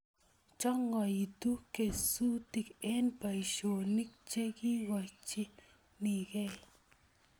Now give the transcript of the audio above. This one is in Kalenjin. Chongoitu kesutik eng boisionik chekikochinegei